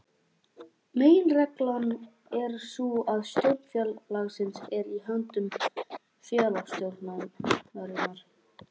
Meginreglan er sú að stjórn félagsins er í höndum félagsstjórnarinnar.